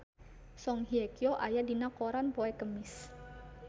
Song Hye Kyo aya dina koran poe Kemis